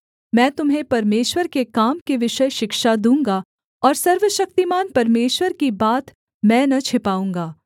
मैं तुम्हें परमेश्वर के काम के विषय शिक्षा दूँगा और सर्वशक्तिमान परमेश्वर की बात मैं न छिपाऊँगा